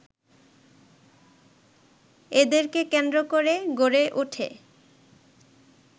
এদেরকে কেন্দ্র করে গড়ে ওঠে